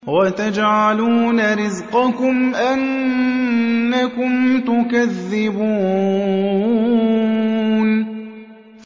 وَتَجْعَلُونَ رِزْقَكُمْ أَنَّكُمْ تُكَذِّبُونَ